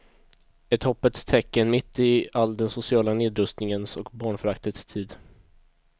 Ett hoppets tecken mitt i all den sociala nedrustningens och barnföraktets tid.